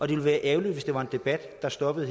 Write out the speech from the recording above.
ville være ærgerligt hvis det var en debat der stoppede